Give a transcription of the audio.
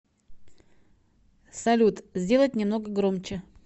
салют сделать немного громче